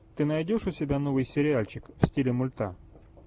ты найдешь у себя новый сериальчик в стиле мульта